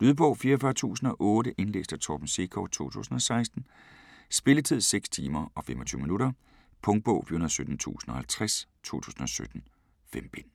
Lydbog 44008 Indlæst af Torben Sekov, 2016. Spilletid: 6 timer, 25 minutter. Punktbog 417050 2017. 5 bind.